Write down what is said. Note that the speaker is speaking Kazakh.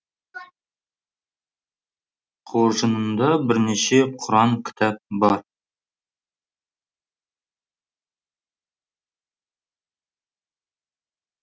қоржынында бірнеше құран кітап бар